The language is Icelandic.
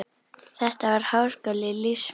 Þetta var háskóli lífs míns.